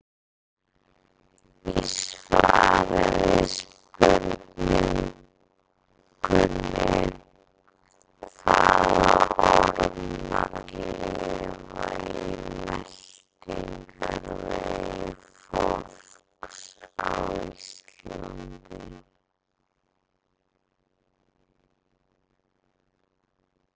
Í svari við spurningunni Hvaða ormar lifa í meltingarvegi fólks á Íslandi?